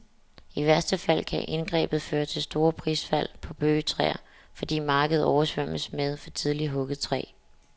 I værste fald kan indgrebet føre til store prisfald på bøgetræ, fordi markedet oversvømmes med for tidligt hugget træ.